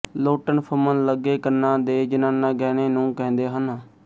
ਲੋਟਣ ਫੁੰਮਣ ਲੱਗੇ ਕੰਨਾਂ ਦੇ ਜਨਾਨਾ ਗਹਿਣੇ ਨੂੰ ਕਹਿੰਦੇ ਹਨ